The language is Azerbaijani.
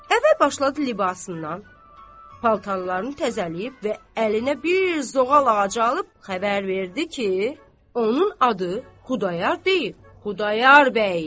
Əvvəl başladı libasından, paltarlarını təzələyib və əlinə bir zoğal ağacı alıb xəbər verdi ki, onun adı Xudayar deyil, Xudayar bəydi.